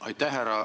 Aitäh!